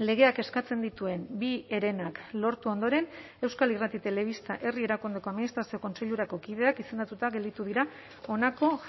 legeak eskatzen dituen bi herenak lortu ondoren euskal irrati telebista herri erakundeko administrazio kontseilurako kideak izendatuta gelditu dira honako